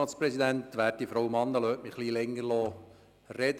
Lassen Sie mich ein bisschen länger reden.